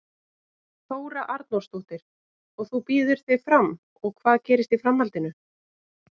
Þóra Arnórsdóttir: Og þú býður þig fram og hvað gerist í framhaldinu?